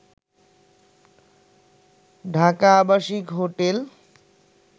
ঢাকা আবাসিক হোটেল